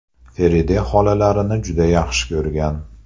Feride xolalarini juda yaxshi ko‘rgan.